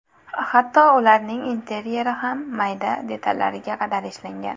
Hatto ularning interyeri ham mayda detallariga qadar ishlangan.